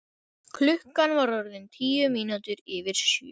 Klukkan var orðin tíu mínútur yfir sjö.